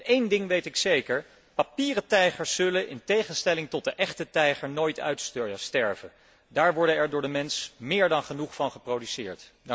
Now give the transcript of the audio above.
En één ding weet ik zeker papieren tijgers zullen in tegenstelling tot de echte tijger nooit uitsterven. Daar worden er door de mens meer dan genoeg van geproduceerd!